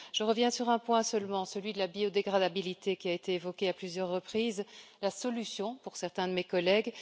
Je reviens sur un point seulement, celui de la biodégradabilité, qui a été évoquée à plusieurs reprises, la solution pour certains de mes collègues.